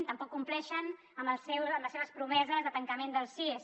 tampoc compleixen amb les seves promeses de tancament dels cies